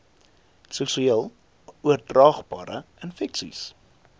seksueel oordraagbare infeksies